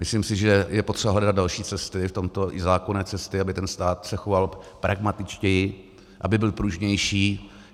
Myslím si, že je potřeba hledat další cesty v tomto, i zákonné cesty, aby ten stát se choval pragmatičtěji, aby byl pružnější.